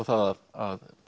það að